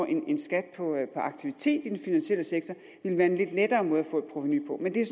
en skat på aktivitet i den finansielle sektor ville være en lidt lettere måde at få et provenu på men det er